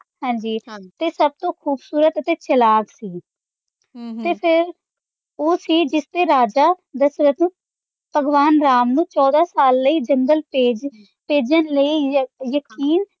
ਹਾਂਜੀ ਤੇ ਸੱਭ ਤੋਂ ਖੂਬਸੂਰਤ ਅਤੇ ਚਾਲਾਕ ਸੀ ਤੇ ਫ਼ੇਰ ਉਹ ਸੀ ਜਿਸਤੇ ਰਾਜਾ ਦਸ਼ਰਤ ਭਗਵਾਨ ਰਾਮ ਨੂੰ ਚੋਦਾਂ ਸਾਲ ਲਈ ਜੰਗਲ ਭੇਜ, ਭੇਜਣ ਲਈ ਯਕ~ ਯਕੀਨ